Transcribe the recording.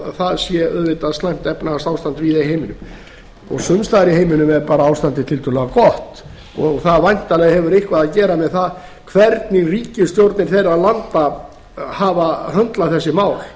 að það sé auðvitað slæmt efnahagsástand víða í heiminum sums staðar í heiminum er bara ástandið tiltölulega gott og það hefur væntanlega eitthvað að gera með það hvernig ríkisstjórnir þeirra landa hafa höndlað þessi mál